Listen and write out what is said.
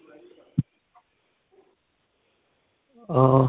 ਆ